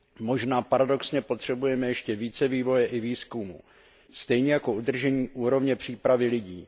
Možná paradoxně potřebujeme ještě více vývoje i výzkumu stejně jako udržení úrovně přípravy lidí.